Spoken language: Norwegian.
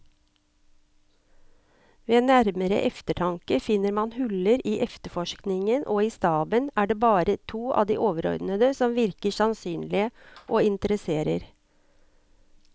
Ved nærmere eftertanke finner man huller i efterforskningen, og i staben er det bare to av de overordnede som virker sannsynlige og interesserer.